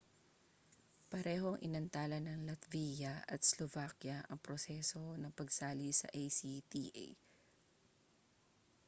parehong inantala ng latvia at slovakia ang proseso ng pagsali sa acta